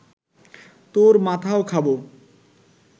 তোর মাথাও খাব